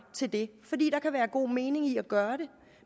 til det fordi der kan være god mening i at gøre det